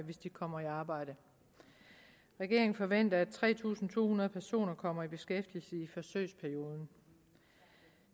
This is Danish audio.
hvis de kommer i arbejde regeringen forventer at tre tusind to hundrede personer kommer i beskæftigelse i forsøgsperioden